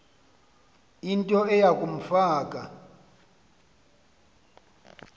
into eya kumfaka